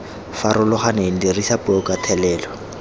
farologaneng dirisa puo ka thelelo